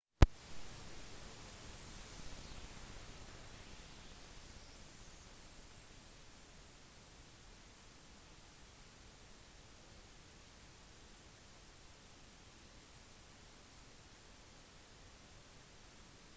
naturfotografi krever ofte at man bruker en lang telelinse men skal man ta bilde av for eksempel en flokk fugler eller bittesmå dyr vil man ha behov for andre typer linser